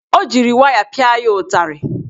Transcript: O jiri waya pịa ya ụtarị.